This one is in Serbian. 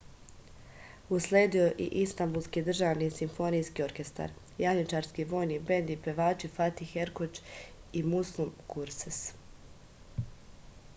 usledio je istambulski državni simfonijski orkestar janjičarski vojni bend i pevači fatih erkoč i muslum gurses